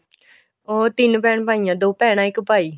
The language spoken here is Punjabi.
ਉਹ ਤਿੰਨ ਭੈਣ ਭਾਈ ਹੈ ਦੋ ਭੈਣਾ ਇੱਕ ਭਾਈ